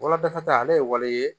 Woloda ta ale ye waleya ye